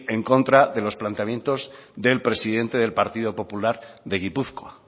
en contra de los planteamientos del presidente del partido popular de gipuzkoa